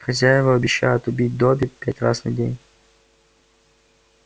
хозяева обещают убить добби пять раз на день